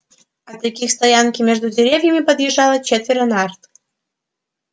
от реки к стоянке между деревьями подъезжало четверо нарт